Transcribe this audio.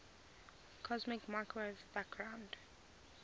cosmic microwave background